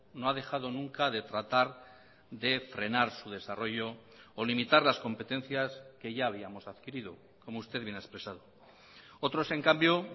no ha dejado nunca de tratar de frenar su desarrollo o limitar las competencias que ya habíamos adquirido como usted bien ha expresado otros en cambio